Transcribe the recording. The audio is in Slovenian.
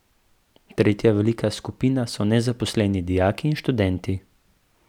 Tretja velika skupina so nezaposleni dijaki in študenti.